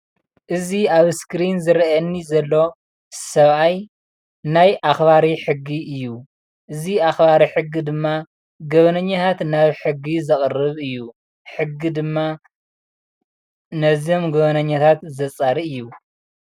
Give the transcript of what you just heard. እዚ ኣብ እስክሪን ዝረአየኒ ዘሎ ሰብኣይ ናይ ኣክባሪ ሕጊ እዩ፣ እዚ ኣክባሪ ሕጊ ድማ ገበነኛታት ናብ ሕጊ ዘቅርብ እዩ፣ ሕጊ ድማ ነዞም ገበነኛታት ዘፃሪ እዩ፡፡